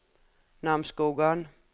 Namsskogan